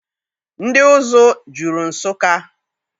Ndị ụzụ juru Nsụka.